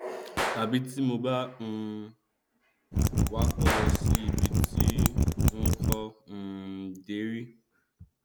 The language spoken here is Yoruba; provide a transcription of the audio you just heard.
tàbí tí mo bá ń um wakọ lọ sí ibi tí n kò um dé rí